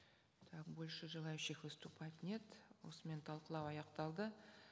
так больше желающих выступать нет осымен талқылау аяқталды